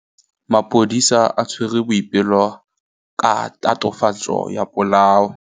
Maphodisa a tshwere Boipelo ka tatofatsô ya polaô.